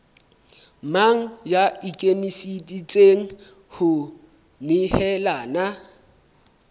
mang ya ikemiseditseng ho nehelana